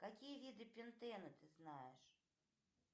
какие виды пентена ты знаешь